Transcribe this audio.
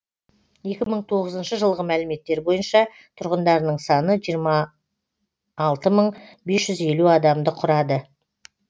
екі мың тоғызыншы жылғы мәліметтер бойынша тұрғындарының саны жиырма алты мың бес жүз елу адамды құрады